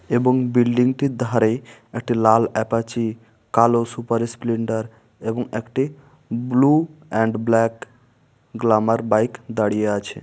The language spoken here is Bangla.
এবং বিল্ডিং -টির ধারে একটি লাল অ্যাপাচি কালো সুপার স্প্লিন্ডার এবং একটি blue and black glamour bike দাঁড়িয়ে আছে।